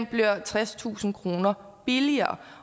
bliver tredstusind kroner billigere